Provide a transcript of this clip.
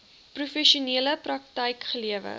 professionele praktyk gelewer